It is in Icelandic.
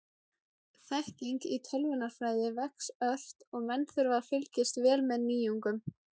þekking í tölvunarfræði vex ört og menn þurfa að fylgjast vel með nýjungum